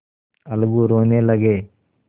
अलगू रोने लगे